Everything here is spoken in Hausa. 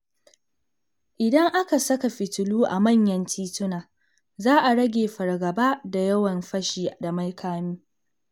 Idan aka saka fitilu a manyan tituna, za a rage fargaba da yawan fashi da makami.